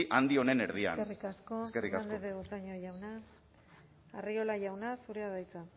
handi honen erdian eskerrik asko eskerrik asko fernandez de betoño jauna arriola jauna zurea da hitza